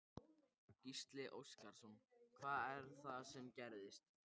Gísli Óskarsson: Hvað er það sem gerðist?